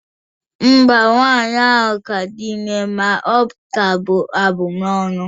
Mba, nwaanyị ahụ ka di ime ma ọ ka bu abụmọnụ